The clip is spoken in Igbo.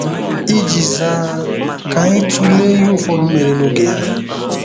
Iji zaa, ka anyị tụlee ihe ụfọdụ mere n'oge ya.